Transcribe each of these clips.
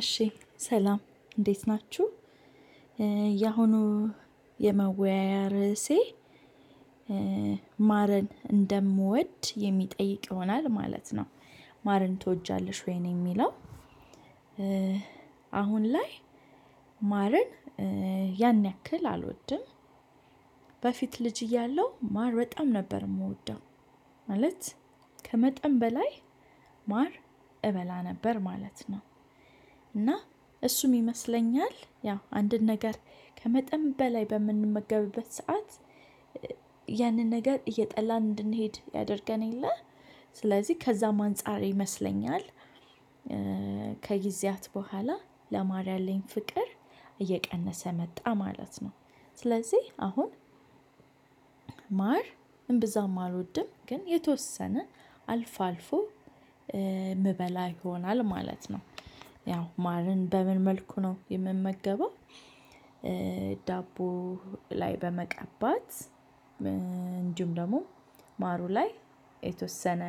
እሺ ሰላም እንዴት ናችሁ ያሁኑ የመወያያ ርዕሴ ማርን እንደምወድ የሚጠይቅ ይሆናል ማለት ነው። ማርን ትወጃለሽ ወይ ነው የሚለው? አሁን ላይ ማርን ያን ያክል አልወድም። በፊት ልጅ እያለሁ ማር በጣም ነበር እምወደው። ማለት ከመጠን በላይ ማር እበላ ነበር ማለት ነው። እና እሱም ይመስለኛል ያው አንድን ነገር ከመጠን በላይ በምንመገብበት ሰዓት ያንን ነገር እየጠላን እንድንሄድ ያደርገን የለ። ስለዚህ ከዛም አንፃር ይመስለኛል። ከጊዜያት ቡሃላ ለማር ያለኝ ፍቅር እየቀነሰ መጣ ማለት ነው። ስለዚህ አሁን ማር እምብዛም አልወድም። ግን የተወሰነ አልፎ አልፎ እምበላ ይሆናል ማለት ነው። ያው ማርን በምን መልኩ ነው የምመገበው? ዳቦ ላይ በመቀባት እንዲሁም ደግሞ ማሩ ላይ የተወሰነ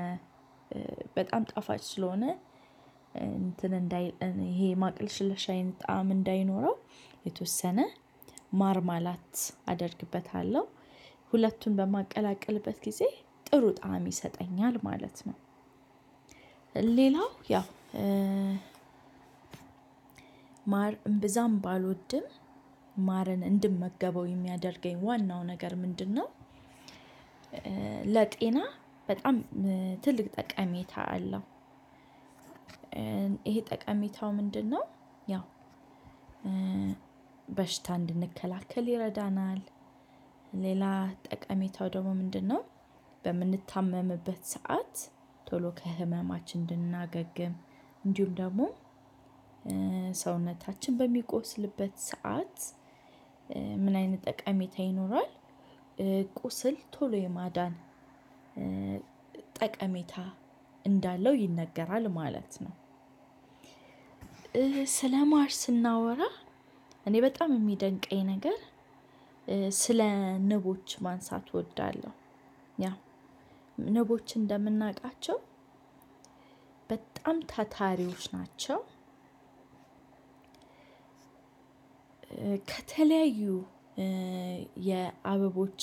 በጣም ጣፋጭ ስለሆነ እንትን እንዳይል ይሄ ማቅለሽለሽ አይነት ጣዕም እንዳይኖረው የተወሰነ ማርማላት አደርግበታለሁ ሁለቱን በማቀላቀልበት ጊዜ ጥሩ ጣዕም ይሰጠኛል ማለት ነው። ሌላው ያው ማር እምብዛም ባልወድም ማርን እንድመገበው የሚያደርገኝ ዋናው ነገር ምንድነው? ለጤና በጣም ትልቅ ጠቃሜታ አለው። ይሄ ጠቃሚታው ምንድነው? ያው በሽታ እንድንከላከል ይረዳናል። ሌላ ጠቀሜታው ደግሞ ምንድነው? በምንታመምበት ሰዓት ቶሎ ከህመማችን እንድናገግም እንዲሁም ደሞ ሰውነታችን በሚቆስልበት ሰዓት ምን አይነት ጠቃሚታ ይኖራል? ቁስል ቶሎ የማዳን ጠቀሜታ እንዳለው ይነገራል ማለት ነው። ስለ ማር ስናወራ እኔ በጣም የሚደንቀኝ ነገር ስለ ንቦች ማንሳት እወዳለሁ። ያው ንቦች እንደምናውቃቸው በጣም ታታሪዎች ናቸው። ከተለያዩ የአበቦች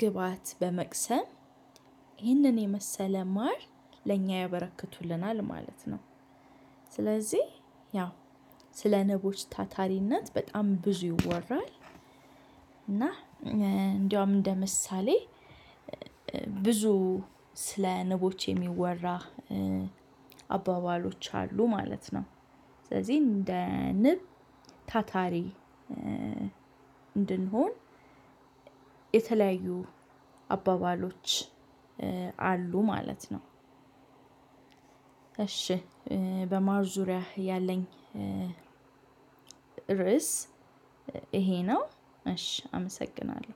ግብአት በመቅሰም ይህንን የመሰለ ማር ለእኛ ያበረክቱልናል ማለት ነው። ስለዚህ ያው ስለ ንቦች ታታሪነት በጣም ብዙ ይወራል። እና እንደውም እንደ ምሳሌ ብዙ ስለ ንቦች የሚወራ አባባሎች አሉ ማለት ነው። ስለዚህ እንደ ንብ ታታሪ እንድንሆን የተለያዩ አባባሎች አሉ ማለት ነው። እሺ በማር ዙሪያ ያለኝ ርዕስ ይሄ ነው። እሺ አመሰግናለሁ